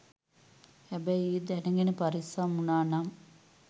හැබැයි ඒ දැනගෙන පරිස්සම් වුනානම්